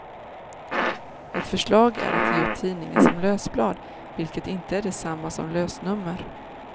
Ett förslag är att ge ut tidningen som lösblad, vilket inte är detsamma som lösnummer.